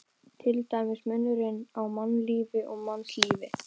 Til dæmis munurinn á mannlífi og mannslífi.